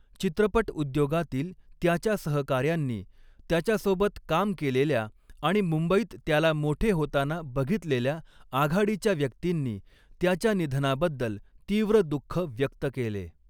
चित्रपट उद्योगातील त्याच्या सहकाऱ्यांनी, त्याच्यासोबत काम केलेल्या आणि मुंबईत त्याला मोठे होताना बघितलेल्या आघाडीच्या व्यक्तींनी त्याच्या निधनाबद्दल तीव्र दुख्ख व्यक्त केले.